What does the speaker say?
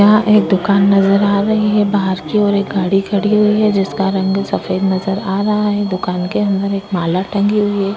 यह एक दुकान नजर आ रही है और बाहर की ओर एक गाड़ी खड़ी है। जिसका रंग सफ़ेद नजर आ रहा है। दुकान के अंदर एक माला टंगी हुई है।